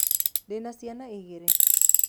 Ndĩna ciana igĩrĩ?